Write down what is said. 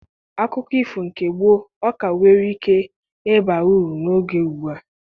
Akụkọ ifo nke mgbe gboo ọ ka nwere ike ịba uru n'oge ùgbúà?